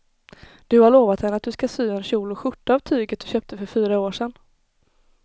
Du har lovat henne att du ska sy en kjol och skjorta av tyget du köpte för fyra år sedan.